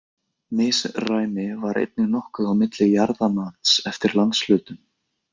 Misræmi var einnig nokkuð á milli jarðamats eftir landshlutum.